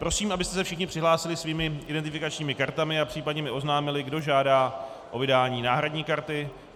Prosím, abyste se všichni přihlásili svými identifikačními kartami a případně mi oznámili, kdo žádá o vydání náhradní karty.